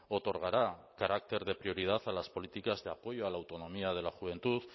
otorgará carácter de prioridad a las políticas de apoyo a la autonomía de la juventud